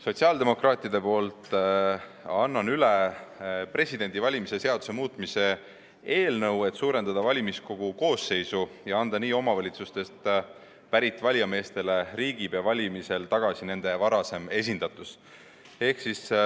Sotsiaaldemokraatide nimel annan üle Vabariigi Presidendi valimise seaduse muutmise seaduse eelnõu, et suurendada valimiskogu koosseisu ja anda nii omavalitsustest pärit valijameestele riigipea valimisel tagasi nende varasem esindatus.